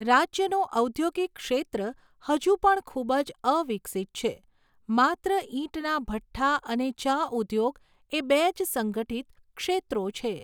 રાજ્યનું ઔદ્યોગિક ક્ષેત્ર હજુ પણ ખૂબ જ અવિકસિત છે, માત્ર ઈંટના ભઠ્ઠા અને ચા ઉદ્યોગ એ બે જ સંગઠિત ક્ષેત્રો છે.